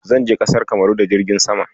Zan je ƙasar Kamaru da jirgin sama.